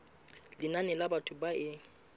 lenane la batho ba e